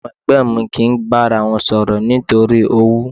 Àwọn ẹ̀gbọ́n mi kì í bára wọn sọ̀rọ̀ nítorí owú.